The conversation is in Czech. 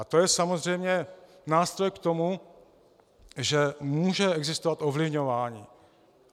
A to je samozřejmě nástroj k tomu, že může existovat ovlivňování.